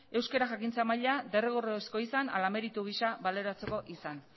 euskara jakintza maila derrigorrezkoa izan ala meritu gisa baloratzeko izan